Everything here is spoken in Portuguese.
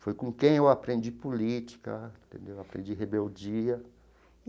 Foi com quem eu aprendi política entendeu, aprendi rebeldia.